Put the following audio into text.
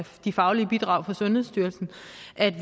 de faglige bidrag fra sundhedsstyrelsen